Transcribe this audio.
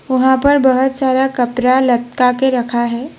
वहां पर बहोत सारा कपड़ा लटका के रखा है।